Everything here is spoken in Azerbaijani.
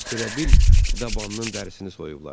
Elə bil dabanının dərisini soyublar.